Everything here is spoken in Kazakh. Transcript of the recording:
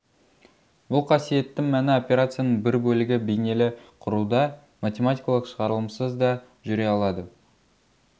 бұл қасиеттің мәні операцияның бір бөлігі бейнелі құруда математикалық шығарылымсыз да жүре алады